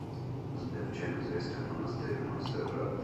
сбер чем известен монастырь монсеррат